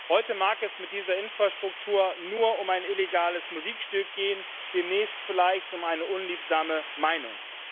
Heute mag es mit dieser Infrastruktur nur um ein illegales Musikstück gehen, demnächst vielleicht um eine unliebsame Meinung.